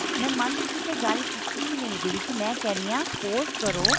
ਮੈਂ month ਦੀ ਤਾਂ ਗੱਲ ਕੀਤੀ ਹੀ ਨਹੀ ਇਹਦੇ ਵਿੱਚ ਮੈਂ ਕਹਿ ਰਹੀ ਹਾਂ suppose ਕਰੋ